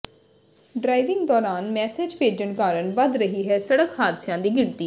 driving ਦੌਰਾਨ message ਭੇਜਣ ਕਾਰਨ ਵੱਧ ਰਹੀ ਹੈ ਸੜਕ ਹਾਦਸਿਆਂ ਦੀ ਗਿਣਤੀ